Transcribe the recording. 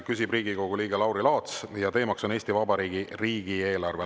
Küsib Riigikogu liige Lauri Laats ja teema on Eesti Vabariigi riigieelarve.